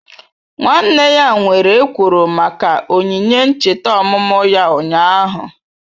Nwanne ya nwere ekworo maka onyinye ncheta ọmụmụ ya ụnyahụ.